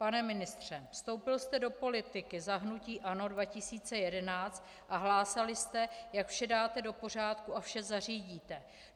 Pane ministře, vstoupil jste do politiky za hnutí ANO 2011 a hlásali jste, jak vše dáte do pořádku a vše zařídíte.